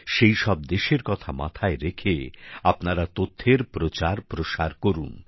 সেই সব দেশের কথা মাথায় রেখে আপনারা তথ্যের প্রচারপ্রসার করুন